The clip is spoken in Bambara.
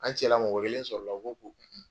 An cɛla mɔgɔ kelen sɔrɔla uo ko ko